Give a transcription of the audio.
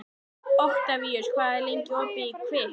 Oktavíus, hvað er lengi opið í Kvikk?